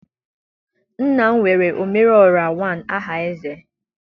nna m were omere orra one aha eze.